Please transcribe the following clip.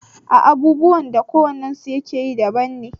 A a abubuwan da ko wannen su yakeyi daban ne